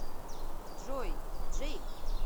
джой джейк